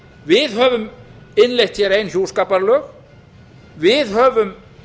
við höfum innleitt hér ein hjúskaparlög við höfum